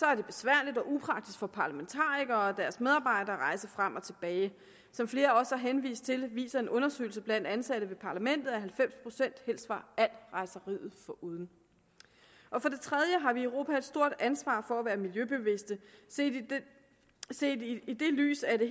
er det besværligt og upraktisk for parlamentarikere og deres medarbejdere at rejse frem og tilbage som flere også har henvist til viser en undersøgelse blandt ansatte ved parlamentet at halvfems procent helst var alt rejseriet foruden for det tredje har vi i europa et stort ansvar for at være miljøbevidste set set i det lys er det